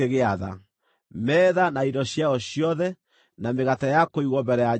metha na indo ciayo ciothe, na mĩgate ya kũigwo Mbere ya Jehova;